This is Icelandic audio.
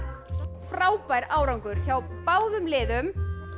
frábær árangur hjá báðum liðum